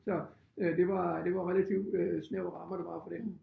Så øh det var det var relativ øh snævre rammer der var for det